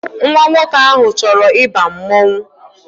Nwa nwoke ahụ achọrọ ịba mmanwụ